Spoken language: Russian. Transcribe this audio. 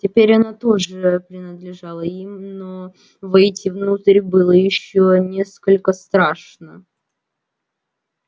теперь она тоже принадлежала им но войти внутрь было ещё несколько страшно